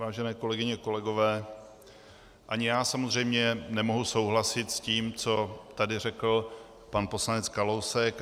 Vážené kolegyně, kolegové, ani já samozřejmě nemohu souhlasit s tím, co tady řekl pan poslanec Kalousek.